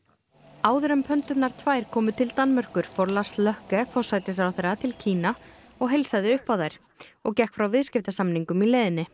áður en tvær komu til Danmerkur fór Lars forsætisráðherra til Kína og heilsaði upp á þær og gekk frá viðskiptasamningum í leiðinni